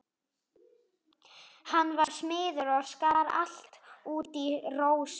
Hann var smiður og skar allt út í rósum.